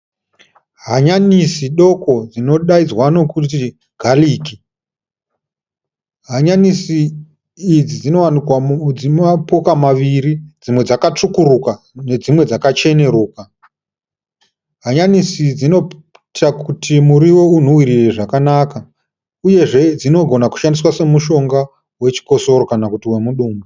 Hanyanisi doko dzinodainzwa nokuti gariki. Hanyanisi idzi dzinowanikwa, dzinomapoka maviri dzimwe dzakatsvukuka dzimwe dzacheneruka. Hanyanisi dzinoita kuti muriwo unhuwirire zvakanaka, uyezve dzinogona kushandiswa semushonga chikosoro kana kuti wemudumbu.